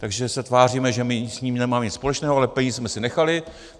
Takže se tváříme, že my s tím nemáme nic společného, ale peníze jsme si nechali.